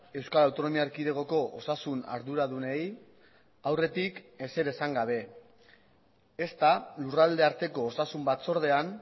euskal autonomia erkidegoko osasun arduradunei aurretik ezer esan gabe ezta lurralde arteko osasun batzordean